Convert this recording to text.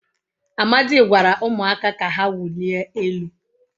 Amadi gwara umuaka ka ha wulie elu